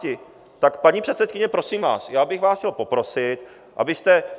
Tak paní předsedkyně, prosím vás, já bych vás chtěl poprosit, abyste...